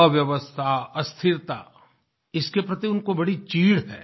अव्यवस्था अस्थिरता इसके प्रति उनको बड़ी चिढ़ है